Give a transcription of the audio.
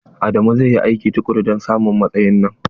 Adamu zai yi aiki tukuru don samun matsayin nan.